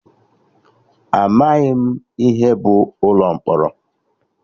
Amaghị m ihe bụ ụlọ mkpọrọ